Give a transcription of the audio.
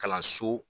Kalanso